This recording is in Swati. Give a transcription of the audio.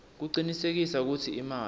kucinisekisa kutsi imali